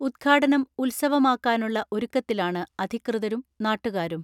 ഉദ്ഘാടനം ഉത്സവമാക്കാനുള്ള ഒരുക്കത്തിലാണ് അധികൃതരും നാട്ടുകാരും.